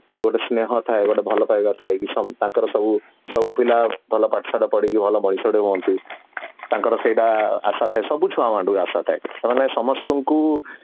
ଗୋଟେ ସ୍ନେହ ଥାଏ ଗୋଟେ ଭଲ ପାଇବାର ଥାଏ କି ତାଙ୍କର ସବୁ ସବୁ ପିଲା ଭଲ ପାଠ ଶାଠ ପଢିକି ଭଲ ହୁଅନ୍ତୁ ତାଙ୍କର ସେଇଟା ଆସା ଥାଏ ସବୁ ଛୁଆମାନଙ୍କ ଠି ଆସା ଥାଏ ସେମାନେ ସମସ୍ତଙ୍କୁ